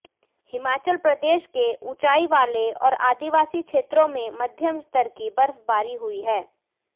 हिमाचल प्रदेश के उंचाई वाले और आदिवासी क्षेत्रों में मध्यम स्तर की बर्फबारी हुई है